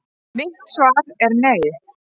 Mitt svar er nei!